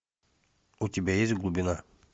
у тебя есть глубина